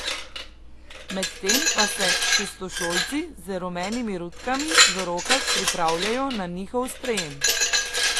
Medtem pa se šestošolci z rumenimi rutkami v rokah pripravljajo na njihov sprejem.